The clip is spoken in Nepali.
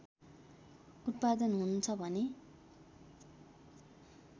उत्पादन हुन्छ भने